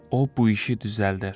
O bu işi düzəldər.